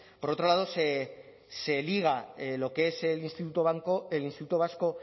por otro lado se liga lo que es el instituto vasco